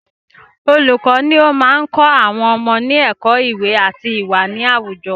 Olùkọ ni o máa n kọ́ àwọn ọmọ ní ẹ̀kọ́ iwe ati iwa ni àwùjọ